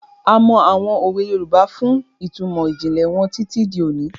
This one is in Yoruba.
A mọ àwọn òwe Yorùbá fún ìtumọ̀ ìjìnlẹ̀ wọn títí di òní.